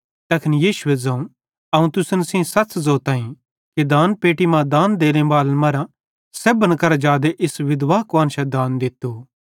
तैखन यीशुए ज़ोवं अवं तुसन सेइं सच़ ज़ोताईं कि दानपेट्टी मां दान देने बालन मरां सेब्भन करां जादे इस विधवा कुआन्शां दान दित्तू